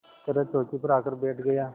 तरह चौकी पर आकर बैठ गया